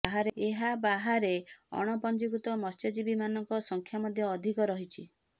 ଏହା ବାହାରେ ଅଣପଞ୍ଜିକୃତ ମତ୍ସ୍ୟଜୀବୀମାନଙ୍କ ସଂଖ୍ୟା ମଧ୍ୟ ଅଧିକ ରହିଛି